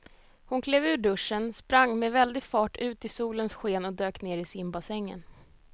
Hon klev ur duschen, sprang med väldig fart ut i solens sken och dök ner i simbassängen.